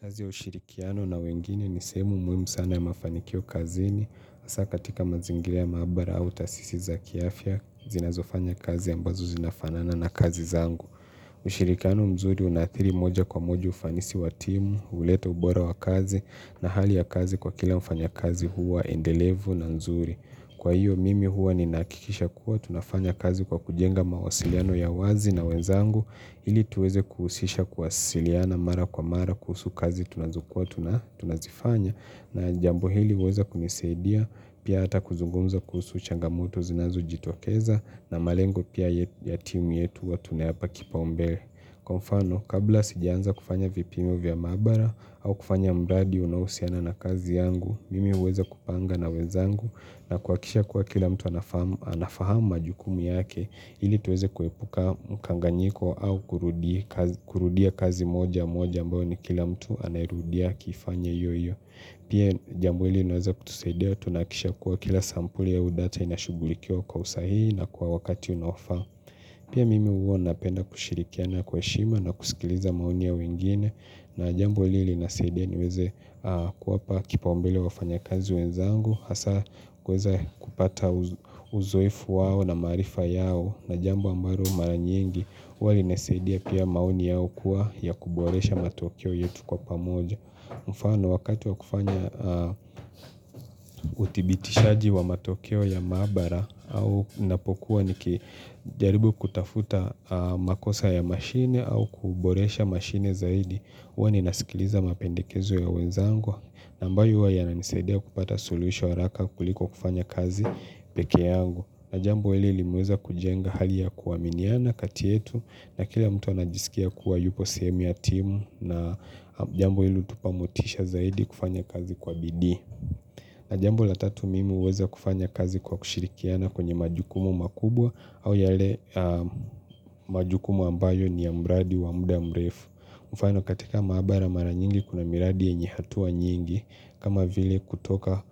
Kazi ya ushirikiano na wengine ni sehemu muhimu sana ya mafanikio kazini. Hasa katika mazingira ya maabara au taasisi za kiafya, zinazofanya kazi ambazo zinafanana na kazi zangu. Ushirikiano mzuri unaathiri moja kwa moja ufanisi wa timu, huleta ubora wa kazi na hali ya kazi kwa kila mfanya kazi huwa endelevu na nzuri. Kwa hiyo mimi huwa ninahakikisha kuwa tunafanya kazi kwa kujenga mawasiliano ya wazi na wenzangu ili tuweze kuhusisha kuwasiliana mara kwa mara kuhusu kazi tunazokua tunazifanya na jambo hili uweza kunisaidia pia hata kuzungumza kuhusu changamoto zinazo jitokeza na malengo pia ya timu yetu huwa tunayapa kipaombele. Kwa mfano, kabla sijaanza kufanya vipimo vya mabaara au kufanya mradi unaohusiana na kazi yangu, mimi uweza kupanga na wenzangu na kuhakisha kuwa kila mtu anafahamu majukumu yake hili tuweze kuepuka mkanganyiko au kurudia kazi moja moja ambayo ni kila mtu anairudia akiifanya iyoiyo. Pia jambo hili linaweza kutusaidia tunahakikisha kuwa kila sampuli au data inashughulikiwa kwa usahihi na kwa wakati unaofaa. Pia mimi huwa napenda kushirikiana kwaheshima na kusikiliza maoni ya wengine na jambo hili linasaidia niweze kuwapa kipaombele wafanya kazi wenzangu. Hasa kuweza kupata uzoefu wao na maarifa yao na jambo ambalo maranyingi huwa linasaidia pia maoni yao kuwa ya kuboresha matokeo yetu kwa pamoja. Mfano wakati wa kufanya uthibitishaji wa matokeo ya maabara au ninapokuwa niki jaribu kutafuta makosa ya mashine au kuboresha mashine zaidi huwa ninasikiliza mapendekezo ya wenzangwa ambayo huwa yananisaidia kupata suluhisho haraka kuliko kufanya kazi peke yangu na jambo hili limeweza kujenga hali ya kuaminiana kati yetu na kila mtu anajisikia kuwa yupo sehemu ya timu na jambo ilo tupamotisha zaidi kufanya kazi kwa bidii na jambo la tatu mimi huweza kufanya kazi kwa kushirikiana kwenye majukumu makubwa au yale majukumu ambayo ni ya mradi wa muda mrefu mfano katika maabara mara nyingi kuna miradi yenye hatua nyingi kama vile kutoka